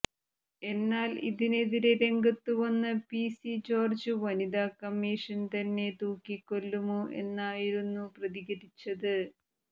എന്നാൽ ഇതിനെതിരെ രംഗത്തു വന്ന പി സി ജോര്ജ് വനിതാ കമ്മീഷൻ തന്നെ തൂക്കിക്കൊല്ലുമോ എന്നായിരുന്നു പ്രതികരിച്ചത്